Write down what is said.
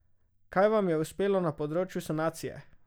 Kaj vam je uspelo na področju sanacije?